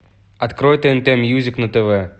открой тнт мьюзик на тв